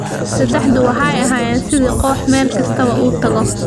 Saddexdu waxay ahaayeen sidii koox meel kasta oo uu tago.